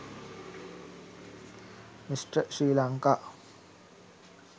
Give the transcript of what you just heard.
mr sri lanka